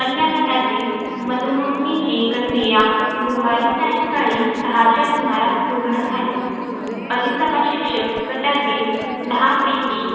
अन्य गटातील मतमोजणीची प्रक्रिया गुरुवारी सायंकाळी सहाच्या सुमारास पूर्ण झाली. अधिसभा शिक्षक गटातील दहापैकी